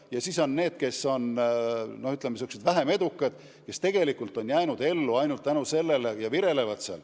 Ja kolmandaks on säärased vähem edukad bürood, kes on jäänud ellu ainult tänu riigi nõuetele ja virelevad.